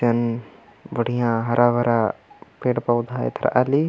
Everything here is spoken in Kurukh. एन बढिया हरा भरा पेड़ पौधा एथराआ ली।